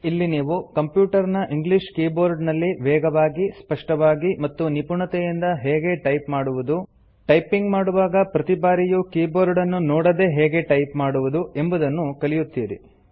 ಇಲ್ಲಿ ನೀವು ಕಂಪ್ಯುಟರ್ ನ ಇಂಗ್ಲೀಷ್ ಕೀಬೋರ್ಡ್ ನಲ್ಲಿ ವೇಗವಾಗಿ ಸ್ಪಷ್ಟವಾಗಿ ಮತ್ತು ನಿಪುಣತೆಯಿಂದ ಹೇಗೆ ಟೈಪ್ ಮಾಡುವುದು ಟೈಪಿಂಗ್ ಮಾಡುವಾಗ ಪ್ರತಿ ಬಾರಿಯೂ ಕೀಬೋರ್ಡನ್ನು ನೋಡದೇ ಹೇಗೆ ಟೈಪ್ ಮಾಡುವುದು ಎಂಬುದನ್ನು ಕಲಿಯುತ್ತೀರಿ